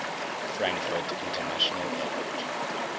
frankfurt international airport